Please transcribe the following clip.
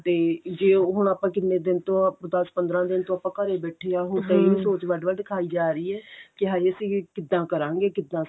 ਤੇ ਜੇ ਹੁਣ ਆਪਾਂ ਕਿੰਨੇ ਦਿਨ ਤੋਂ ਦਸ ਪੰਦਰਾਂ ਦਿਨ ਤੋਂ ਆਪਾਂ ਘਰੇ ਬੈਠੇ ਆਂ ਹੁਣ ਇਹੀ ਸੋਚ ਵੱਡ ਵੱਡ ਖਾਈ ਜਾ ਰਹੀ ਏ ਕੀ ਹਾਏ ਅਸੀਂ ਕਿੱਦਾਂ ਕਰਾਂਗੇ ਕਿੱਦਾਂ